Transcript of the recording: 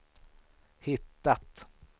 hittat